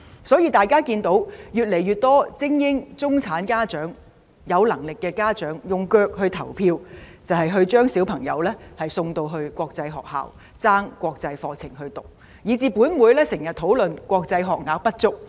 所以，越來越多精英、中產家長、有能力的家長，用腳來投票，就是將子女送到國際學校，以至本會經常討論國際學校學額不足。